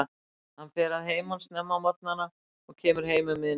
Hann fer að heiman snemma á morgnana og kemur heim um miðnætti.